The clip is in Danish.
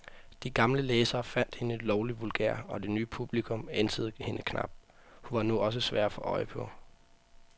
De gamle læsere fandt hende lovlig vulgær, og det nye publikum ænsede hende knap, hun var nu også svær at få øje på.